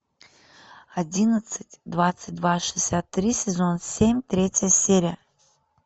одиннадцать двадцать два шестьдесят три сезон семь третья серия